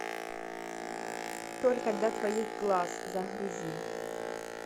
только для твоих глаз загрузи